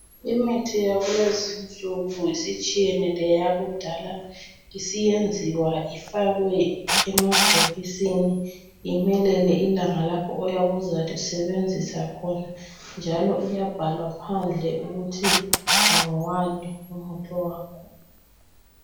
Imithi yakulezinsuku isitshiyene leyakudala. Isiyenziwa ifakwe emabhokisini imelele ilanga lakhona oyabe uzalisebenzisa khona njalo iyabhalwa phandle ukuthi ngowani umuthi wakhona.